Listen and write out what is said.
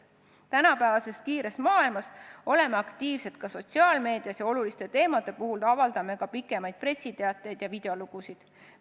Tänapäevases kiires maailmas oleme aktiivsed ka sotsiaalmeedias, oluliste teemade kohta avaldame pikemaid pressiteateid ja videolugusid.